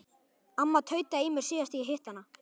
Amma tautaði í mér síðast þegar ég hitti hana.